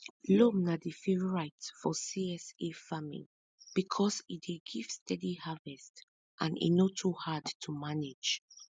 loam na di favorite for csa farming because e dey give steady harvest and e no too hard to manage